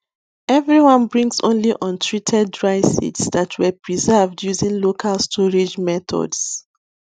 everyone brings only untreated dry seeds that were preserved using local storage methods